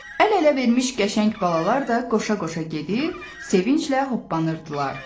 Əl-ələ vermiş qəşəng balalar da qoşa-qoşa gedir, sevinclə hoppanırdılar.